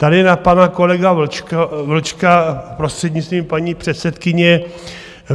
Tady na pana kolegu Vlčka prostřednictvím paní předsedkyně.